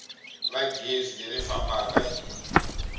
va gezi leri fambaka hi